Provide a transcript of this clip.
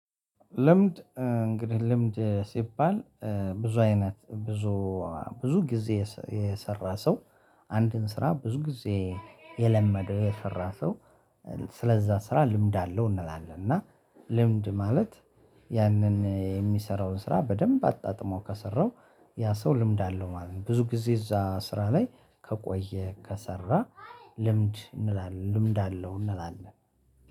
ልምድ እንግዲህ ልምድ ሲባል ብዙ አይነት ብዙ ብዙ ጊዜ የሰራ ሰው አንድን ስራ ብዙ ጊዜ የለመደው የሰራ ሰው። ስለዛ ስራ ልምድ አለው እንላለን እና። ልምድ ማለት ያንን የሚሰራውን ስራ በደንብ አጣጥሞ ከሰራው ያ ሰው ልምድ አለው ማለት ነው። ብዙ ጊዜ እዛ ስራ ላይ ከቆየ ከሰራ ልምድ እንላለን ልምድ አለው እንላለን